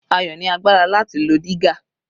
Ayo ni agbára láti lo dígà.